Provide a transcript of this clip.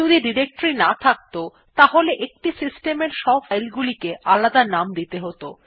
যদি ডিরেক্টরী না থাকত তাহলে একটি সিস্টেম এর সব ফাইল গুলিকে আলাদা নাম দিতে হত